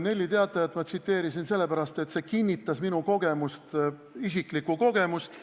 Nelli Teatajat tsiteerisin ma sellepärast, et see kinnitas minu isiklikku kogemust.